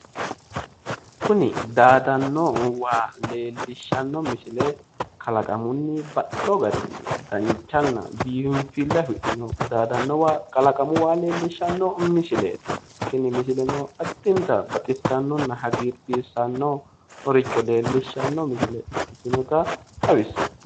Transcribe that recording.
Kuni daadanno waa leellishshanno misile kalaqamunni baxxewo garinni danchanna biinfille afidhino daadannonna kalaqamu waa daadanno waa leellishanno misileeti tini misileno addinta baxissannonna hagiirsiisannoricho leellishanno misile ikkitinota xawissanno.